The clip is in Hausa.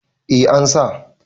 eh an sa